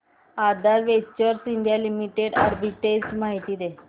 आधार ventures India limited arbitrage माहिती दे